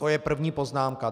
To je první poznámka.